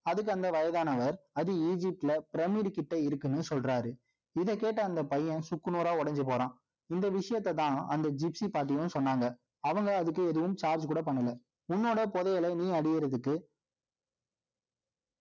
அதுக்கு, அந்த வயதானவர், அது Egypt ல, pyramid கிட்ட இருக்குன்னு, சொல்றாரு. இதைக் கேட்ட, அந்த பையன், சுக்கு நூறா உடைஞ்சு போறான் இந்த விஷயத்தைதான், அந்த gypsie பாட்டியும் சொன்னாங்க. அவங்க, அதுக்கு எதுவும் charge கூட பண்ணலை. உன்னோட புதையலை, நீ அடியிறதுக்கு